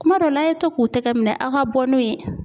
Kuma dɔ n'a ye to k'u tɛgɛ minɛ aw ka bɔ n'o ye